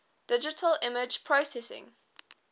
digital image processing